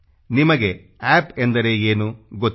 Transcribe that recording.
ನಿಮಗೆ ಅಪ್ ಎಂದರೆ ಏನು ಗೊತ್ತಿದೆ